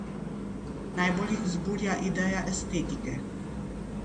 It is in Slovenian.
Najbolj jih vzburja ideja estetike.